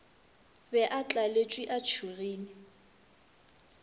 be a tlaletšwe a tšhogile